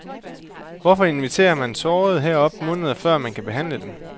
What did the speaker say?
Hvorfor inviterer man sårede herop måneder før man kan behandle dem?